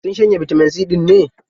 Sun shanye bitamin C ɗin ne?